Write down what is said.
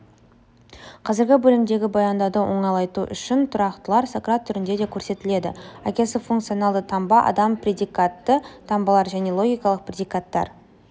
қазіргі бөлімдегі баяндауды оңайлату үшін тұрақтылар сократ түрінде де көрсетіледі әкесі функционалды таңба адам предикатты таңбалар және логикалық предикаттар